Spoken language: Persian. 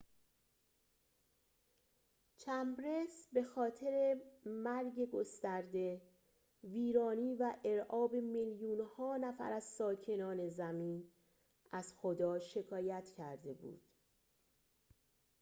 چمبرس به خاطر مرگ گسترده ویرانی و ارعاب میلیون ها نفر از ساکنان زمین از خدا شکایت کرده بود